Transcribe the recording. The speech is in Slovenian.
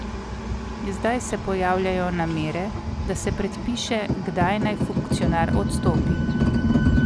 Zdaj se pojavljajo namere, da se predpiše, kdaj naj funkcionar odstopi.